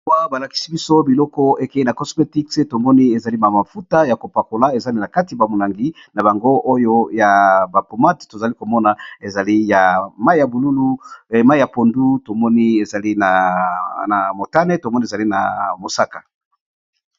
Awa ba lakisi biso biloko eke na cosmétic, tomoni ezali ma mafuta ya ko pakola, ezali na kati ba molangi na bango oyo ya ba pomade . To zali ko mona ezali ya mayi ya bululu, mayi ya pondu, tovmoni ezali na motane, to moni ezali na mosaka .